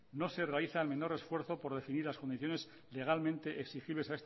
no se realizan el menor esfuerzo por decidir las condiciones legalmente exigibles